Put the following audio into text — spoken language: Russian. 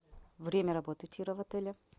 время работы тира в отеле